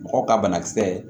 Mɔgɔw ka banakisɛ